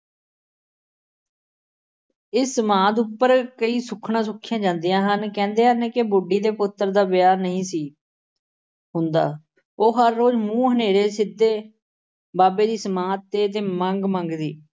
ਇਸ ਸਮਾਧ ਉੱਪਰ ਕਈ ਸੁੱਖਨਾਂ ਸੁੱਖੀਆਂ ਜਾਂਦੀਆਂ ਹਨ। ਕਹਿੰਦੇ ਹਨ ਕਿ ਬੁੱਢੀ ਦੇ ਪੁੱਤਰ ਦਾ ਵਿਆਹ ਨਹੀਂ ਸੀ ਹੁੰਦਾ। ਉਹ ਹਰ ਰੋਜ਼੍ਹ ਮੂੰਹ ਹਨ੍ਹੇੇਰੇ ਸਿੱਧੇ ਬਾਬੇ ਦੀ ਸਮਾਧ 'ਤੇ ਮੰਗ ਮੰਗਦੀ।